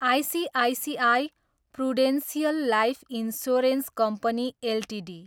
ICICI Prudential life insurance company Ltd